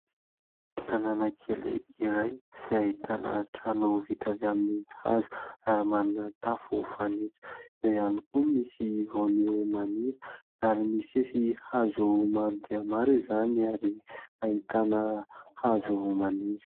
Tanàna kely iray izay ahitana trano vita avy amin'ny hazo ary manana tafo fanitso. Eo ihany koa misy voaniho maniry ary mifefy hazo maro dia maro izany ary ahitana hazo maniry.